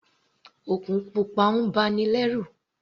Òkun pupa ń ba ni lẹ́rù.